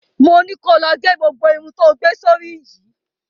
Mo ni ko lọ ge gbogbo irun tó gbé sórí yìí!